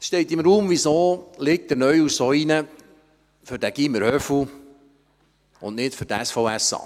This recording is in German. Es steht im Raum, weshalb der Neuhaus sich so für das Gymnasium «Höfu» einsetzt, aber nicht für das SVSA.